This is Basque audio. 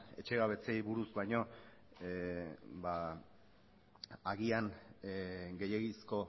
etxegabetzeei buruz baino agian gehiegizko